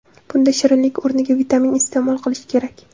Bunda shirinlik o‘rniga vitamin iste’mol qilish kerak.